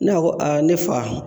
N'a ko aa ne fa